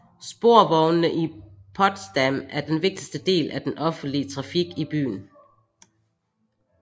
Sporvognene i Potsdam er den vigtigste del af den offentlige trafik i byen